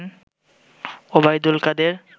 Obaidul Quader